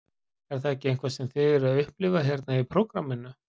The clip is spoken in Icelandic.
Er það ekki eitthvað sem þið eruð að upplifa hérna í prógramminu?